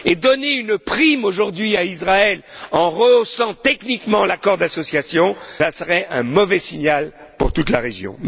Et donner une prime aujourd'hui à Israël en rehaussant techniquement l'accord d'association serait un mauvais signal pour toute la région.